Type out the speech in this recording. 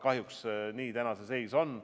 Kahjuks niisugune see seis praegu on.